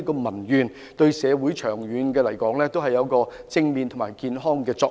長遠而言，對社會亦有正面和健康的作用。